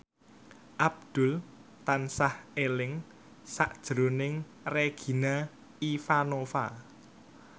Abdul tansah eling sakjroning Regina Ivanova